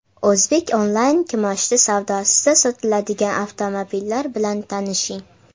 O‘zbek onlayn kimoshdi savdosida sotiladigan avtomobillar bilan tanishing.